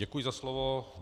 Děkuji za slovo.